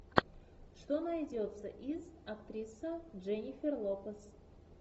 что найдется из актриса дженнифер лопес